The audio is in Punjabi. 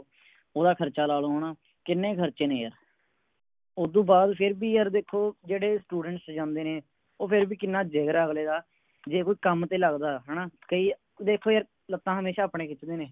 ਓਹਦਾ ਖਰਚਾ ਲਾ ਲੋ ਹਣਾ ਕਿੰਨੇ ਖਰਚੇ ਨੇ ਯਾਰ ਉਦੋਂ ਬਾਦ ਫੇਰ ਵੀ ਯਾਰ ਦੇਖੋ ਜਿਹੜੇ Students ਜਾਂਦੇ ਨੇ ਓ ਫੇਰ ਵੀ ਕਿੰਨਾ ਜਿਗਰ ਆ ਅਗਲੇ ਦਾ ਜੇ ਕੋਈ ਕੰਮ ਤੇ ਲਗਦਾ ਹੈ ਨਾ ਕਈ ਦੇਖੋ ਯਾਰ ਲੱਤਾਂ ਹਮੇਸ਼ਾ ਆਪਣੇ ਖਿੱਚਦੇ ਨੇ